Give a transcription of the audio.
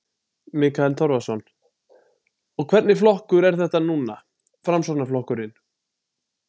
Mikael Torfason: Og hvernig flokkur er þetta núna, Framsóknarflokkurinn?